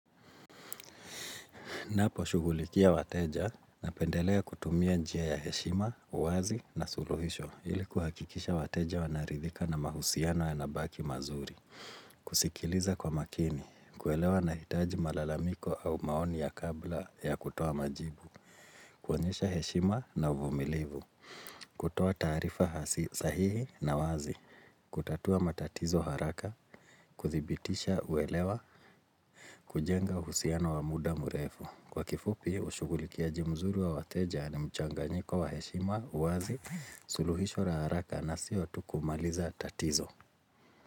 Ninaposhugulikia wateja napendelea kutumia njia ya heshima, uwazi na suluhisho ili kuhakikisha wateja wanaridhika na mahusiano yanabaki mazuri. Kusikiliza kwa makini, kuelewa na hitaji malalamiko au maoni ya kabla ya kutoa majibu, kuonyesha heshima na uvumilivu, kutoa taarifa sahihi na wazi, kutatua matatizo haraka, kuthibitisha uelewa kujenga uhusiano wa muda mrefu. Kwa kifupi, ushugulikiaji mzuri wa wateja ni mchanganyiko wa heshima, uwazi, suluhisho la haraka na sio tu kumaliza tatizo.